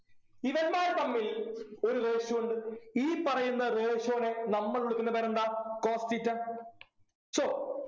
ഇവന്മാർ തമ്മിൽ ഒരു ratio ഉണ്ട് ഈ പറയുന്ന ratio നെ നമ്മൾ വിളിക്കുന്ന പേരെന്താ cos theta so